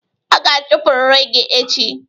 A ga-achụpụrịrị gị echi!